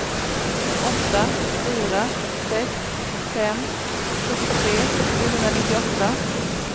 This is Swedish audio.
åtta fyra sex fem sjuttiotre sjuhundranittioåtta